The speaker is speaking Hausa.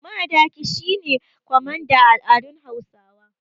Madaki shi ne kwamanda a al’adun Hausawa.